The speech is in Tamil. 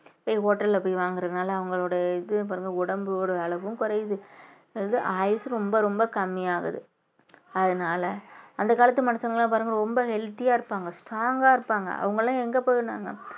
hotel ல போய் வாங்குறதுனால அவங்களோடய இது பாருங்க உடம்போட அளவும் குறையுது வந்து ஆயுசும் ரொம்ப ரொம்ப கம்மி ஆகுது அதனால அந்த காலத்து மனுஷங்க எல்லாம் பாருங்க ரொம்ப healthy ஆ இருப்பாங்க strong ஆ இருப்பாங்க அவங்க எல்லாம் எங்க போயிருந்தாங்க